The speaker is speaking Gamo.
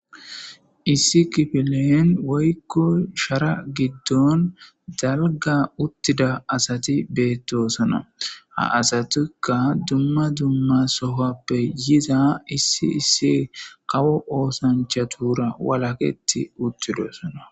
issi kifileen woykko shara giddon dalga uttida asati beettosona ha asatikka dumma dumma sohappe yiza issi issi kawo oosanchatura walaketi uttidosona